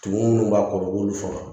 Tumu minnu b'a kɔrɔ u b'olu faga